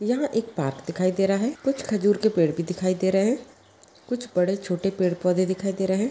यह एक पार्क दिखाई दे रहा है कुछ खजूर के पेड़ भी दिखाई दे रहे है कुछ बड़े छोटे पेड़ पौधे दिखाई दे रहे है।